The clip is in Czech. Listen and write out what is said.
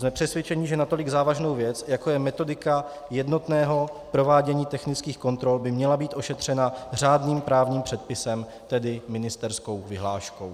Jsme přesvědčeni, že natolik závažnou věc, jako je metodika jednotného provádění technických kontrol, by měla být ošetřena řádným právním předpisem, tedy ministerskou vyhláškou.